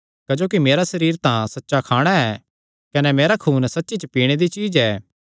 क्जोकि मेरा सरीर तां सच्चा खाणा ऐ कने मेरा खून सच्ची च पीणे दी चीज्ज ऐ